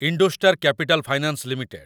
IndoStar Capital Finance limited